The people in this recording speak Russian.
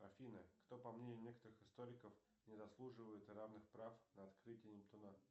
афина кто по мнению некоторых историков не заслуживает равных прав на открытие нептуна